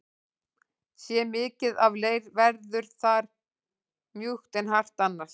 Sé mikið af leir verður það mjúkt en hart annars.